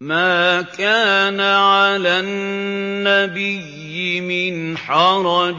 مَّا كَانَ عَلَى النَّبِيِّ مِنْ حَرَجٍ